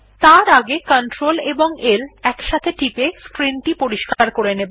তার আগে Cltl একসাথে টিপে স্ক্রিন পরিস্কার করে নেব